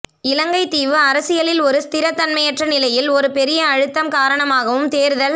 இலங்கைத் தீவு அரசியலில் ஒரு ஸ்திரதன்மையற்ற நிலையில் ஒரு பெரிய அழுத்தம் காரணமாகவும் தேர்தல்